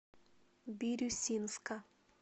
бирюсинска